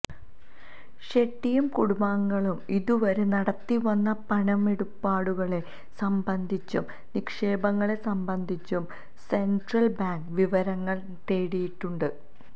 ഷെട്ടിയും കുടുംബാംഗങ്ങളും ഇതുവരെ നടത്തിവന്ന പണമിടപാടുകളെ സംബന്ധിച്ചും നിക്ഷേപങ്ങളെ സംബന്ധിച്ചും സെന്ട്രല് ബാങ്ക് വിവരങ്ങള് തേടിയിട്ടുണ്ട്